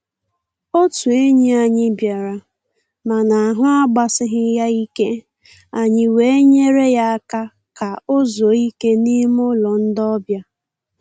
Otụ enyi anyị bịara, mana ahụ agbasighị ya ike, anyị wee nyere ya aka ka o zuo ike n'ime ụlọ ndị ọbịa.